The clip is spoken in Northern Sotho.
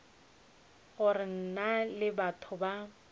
gore na ke batho ba